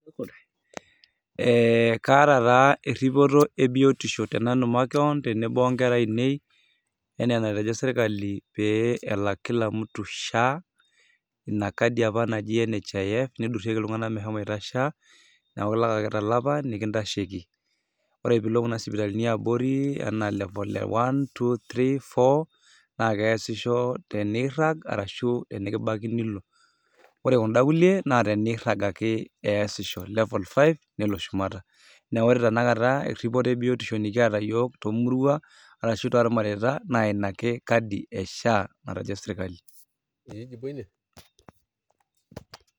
Eh kaata taa erripoto ebiotisho tenanu makeon tenebo onkera ainei, enaa enatejo serkali pee elak kila mtu SHA, inakadi apa naji NHIF, nidurrieki iltung'anak meshomoita SHA, neeku ilak ake tolapa nekintasheki. Ore pilo kuna sipitalini eabori, enaa level e one, two, three, four, nakeesisho tenirrag arashu tenikibaki nilo. Ore kunda kulie, na tenirrag ake eesisho. Level five, nelo shumata. Na ore tanakata erripoto ebiotisho nikiata yiok tomuruan arashu tormareita, naa inake kadi e SHA natejo sirkali.